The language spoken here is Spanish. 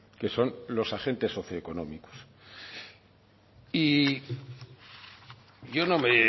que son los agentes socioeconómicos y yo no me